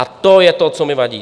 A to je to, co mi vadí.